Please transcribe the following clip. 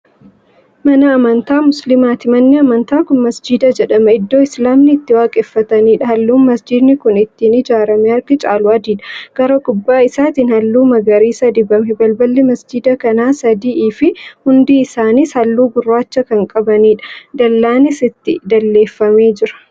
Mana amantaa musliimaati. Manni amantaa Kuni masjiida jedhama. Iddoo Islaaminni itti waaqeffataniidha. Halluun masjiidni kun ittiin ijaarame harki caalu adiidha. Gara gubbaa isaattiin halluu magariisa dibame. Balballi masjiida kanaa sadi'ifi hundi isaanis halluu gurraachaa Kan qabaniidha. Dallaanis itti dalleeffamee jira